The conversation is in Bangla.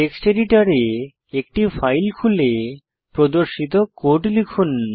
টেক্সট এডিটরে একটি ফাইল খুলে প্রদর্শিত কোড লিখুন